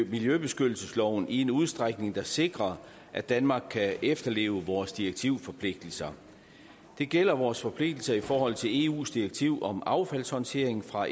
miljøbeskyttelsesloven i en udstrækning der sikrer at danmark kan efterleve vores direktivforpligtelser det gælder vores forpligtelser i forhold til eus direktiv om affaldshåndtering fra